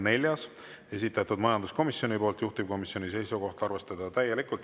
Neljas, esitatud majanduskomisjoni poolt, juhtivkomisjoni seisukoht: arvestada täielikult.